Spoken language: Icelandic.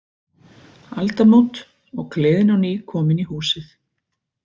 Aldamót, og gleðin á ný komin í húsið.